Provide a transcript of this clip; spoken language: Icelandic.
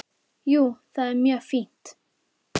Jú, það er mjög fínt.